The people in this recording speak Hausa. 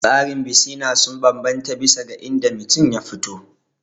Tsarin bisina sun bambanta bisa ga inda mutum ya fito